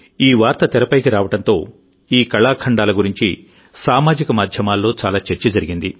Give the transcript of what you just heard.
ఈ వార్త తెరపైకి రావడంతో ఈ కళాఖండాల గురించి సామాజిక మాధ్యమాల్లో చాలా చర్చ జరిగింది